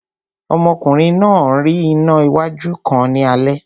Ọmọkùnrin náà rí iná wájú kan ní ilẹ̀